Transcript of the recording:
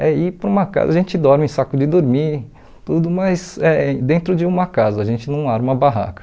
É ir para uma casa, a gente dorme em saco de dormir, tudo mas eh dentro de uma casa, a gente não arma barraca.